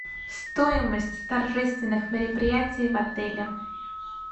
стоимость торжественных мероприятий в отеле